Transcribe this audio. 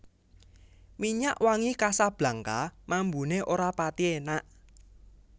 Minyak wangi Casablanca mambune ora pathi enak